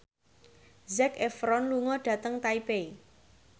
Zac Efron lunga dhateng Taipei